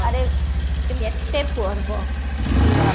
ଆରେ ଏତେ ପର୍ବ ୟେ ବାବାରେ